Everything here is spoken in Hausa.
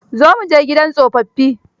Zo mu je gidan tsofaffi.